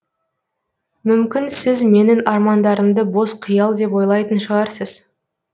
мүмкін сіз менің армандарымды бос қиял деп ойлайтын шығарсыз